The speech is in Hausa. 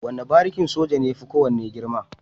Wane barikin soja ne yafi kowane girma.